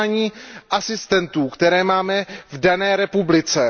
přijímání asistentů, které máme v dané zemi.